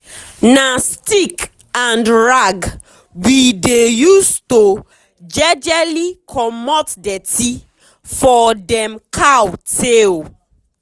na stick and rag we dey use to jejely comot dirty for dem cow tail.